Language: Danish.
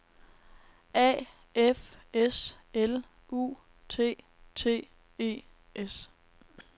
A F S L U T T E S